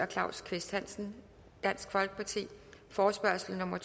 claus kvist hansen forespørgsel nummer